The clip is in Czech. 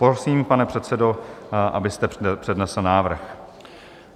Prosím, pane předsedo, abyste přednesl návrh.